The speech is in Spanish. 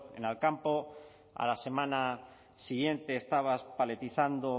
en alcampo a la semana siguiente estabas paletizando